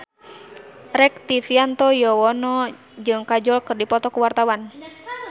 Rektivianto Yoewono jeung Kajol keur dipoto ku wartawan